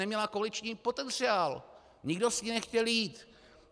Neměla koaliční potenciál, nikdo s ní nechtěl jít.